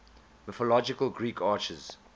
mythological greek archers